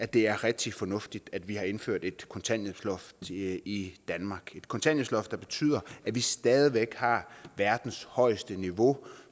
det er rigtig fornuftigt at vi har indført et kontanthjælpsloft i i danmark et kontanthjælpsloft der betyder at vi stadig væk har verdens højeste niveau